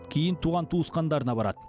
кейін туған туысқандарына барады